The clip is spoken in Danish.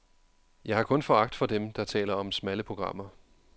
Jeg har kun foragt for dem, der taler om smalle programmer.